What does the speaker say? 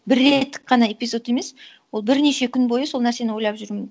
бір реттік қана эпизод емес ол бірнеше күн бойы сол нәрсені ойлап жүру